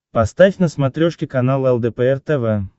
поставь на смотрешке канал лдпр тв